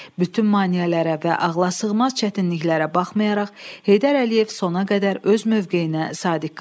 Bütün maneələrə və ağlasığmaz çətinliklərə baxmayaraq, Heydər Əliyev sona qədər öz mövqeyinə sadiq qaldı.